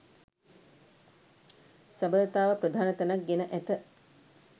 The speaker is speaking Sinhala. සබඳතාව ප්‍රධාන තැනක් ගෙන ඇත.